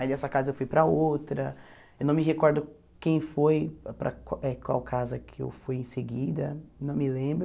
Aí dessa casa eu fui para outra, eu não me recordo quem foi, para eh qual casa que eu fui em seguida, não me lembro.